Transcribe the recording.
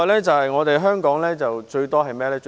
此外，香港最多的是甚麼？